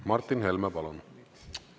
Martin Helme, palun!